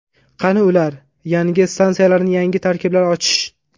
Qani ular?, Yangi stansiyalarni yangi tarkiblar ochish.